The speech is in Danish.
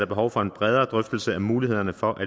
behov for en bredere drøftelse af mulighederne for at